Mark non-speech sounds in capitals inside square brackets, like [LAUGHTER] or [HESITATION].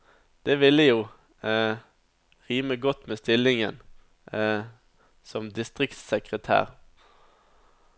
Det ville jo [HESITATION] rime godt med stillingen [HESITATION] som distriktssekretær.